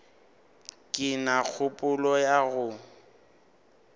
ke na kgopolo ya go